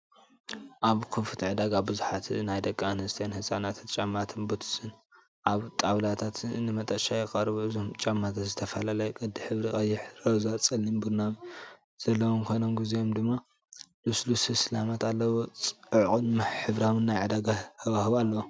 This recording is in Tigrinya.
ኣብ ክፉት ዕዳጋ ብዙሓት ናይ ደቂ ኣንስትዮን ህጻናትን ጫማታትን ቡትስን ኣብ ጣውላታት ንመሸጣ ይቐርቡ። እቶም ጫማታት ዝተፈላለየ ቅዲ፡ ሕብሪ (ቀይሕ፡ ሮዛ፡ ጸሊም፡ ቡናዊ) ዘለዎም ኮይኖም ገሊኦም ድማ ልስሉስ ስልማት ኣለዎም። ጽዑቕን ሕብራዊን ናይ ዕዳጋ ሃዋህው ኣለዎ፡፡